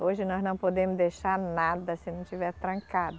Hoje nós não podemos deixar nada se não estiver trancado.